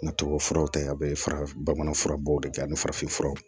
N ka tuwawufuraw ta a be fara bamanan fura bɔw de kɛ ani farafin furaw